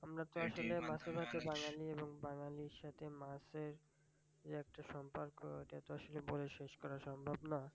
আমরা তো আসলে মাছে ভাতে বাঙালি। বাঙালির সাথে মাছের যে একটা সম্পর্ক তা বলে শেষ করা সম্ভব না।